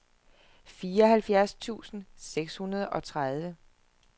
fireoghalvfjerds tusind seks hundrede og tredive